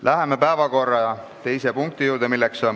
Läheme päevakorra teise punkti juurde.